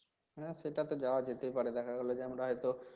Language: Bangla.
হ্যাঁ সেটা তো যাওয়া যেতেই পারে দেখা গেলো তো আমরা হয়তো